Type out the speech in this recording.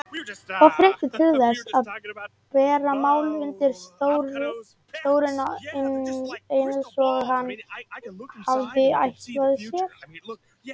Of þreyttur til þess að bera málin undir Þórunni eins og hann hafði ætlað sér.